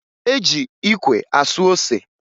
E ji ikwe asụ ose